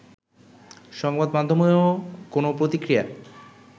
সংবাদমাধ্যমেও কোনও প্রতিক্রিয়া